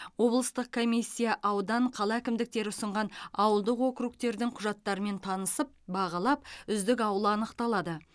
облыстық комиссия аудан қала әкімдіктері ұсынған ауылдық округтердің құжаттарымен танысып бағалап үздік ауыл анықталады